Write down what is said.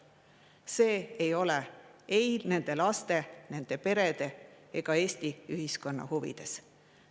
See ei ole ei nende laste, nende perede ega Eesti ühiskonna huvides.